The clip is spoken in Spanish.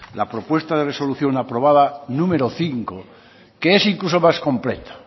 la propuesta de resolución aprobada número cinco que es incluso más completa